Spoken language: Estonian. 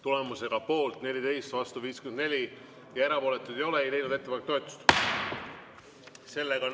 Tulemusega poolt 14, vastu 54 ja erapooletuid ei ole, ei leidnud ettepanek toetust.